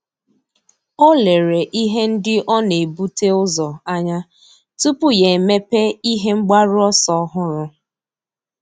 Ọ́ lérè ihe ndị ọ́ nà-ebute ụzọ anya tupu yá èmépé ihe mgbaru ọsọ ọ́hụ́rụ́.